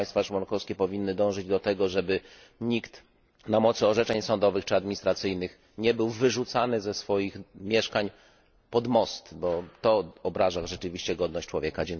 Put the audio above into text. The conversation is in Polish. Państwa członkowskie powinny dążyć do tego, żeby nikt na mocy orzeczeń sądowych czy administracyjnych nie był wyrzucany ze swoich mieszkań pod most, bo to obraża rzeczywiście godność człowieka.